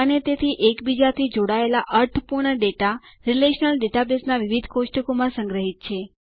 અને તેથી એકબીજાથી જોડાયેલા અર્થપૂર્ણ ડેટા રીલેશનલ ડેટાબેઝના વિવિધ કોષ્ટકો માં સંગ્રહિત છે